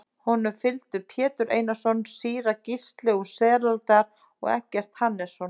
Honum fylgdu Pétur Einarsson, síra Gísli úr Selárdal og Eggert Hannesson.